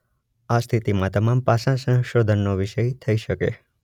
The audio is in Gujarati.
આ સ્થિતિમાં તમામ પાસાં સંશોધનનો વિષય થઈ શકે